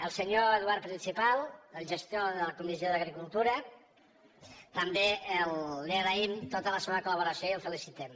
al senyor eduard principal el gestor de la comissió d’agricultura també li agraïm tota la seva col·laboració i el felicitem